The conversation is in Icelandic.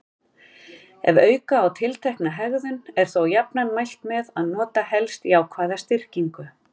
Ef auka á tiltekna hegðun er þó jafnan mælt með að nota helst jákvæða styrkingu.